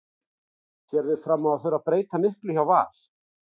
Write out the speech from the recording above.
Sérðu fram á að þurfa að breyta miklu hjá Val?